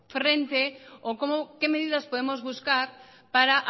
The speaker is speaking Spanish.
frente o que medidas podemos buscar para